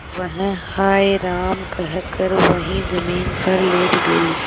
वह हाय राम कहकर वहीं जमीन पर लेट गई